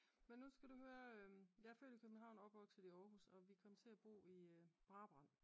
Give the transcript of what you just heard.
Men nu skal du høre jeg er født i København og opvokset i Aarhus og vi kom til at bo i Brabrand